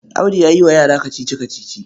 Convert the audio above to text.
Audu yan yi wa yara kacici-kacici.